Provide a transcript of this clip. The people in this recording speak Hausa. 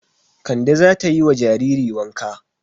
Kande za ta yi wa jariri wanka.